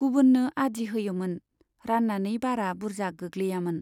गुबुननो आदि होयोमोन, रान्नानै बारा बुर्जा गोग्लैयामोन।